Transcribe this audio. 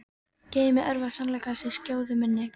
Geymi örvar sannleikans í skjóðu minni.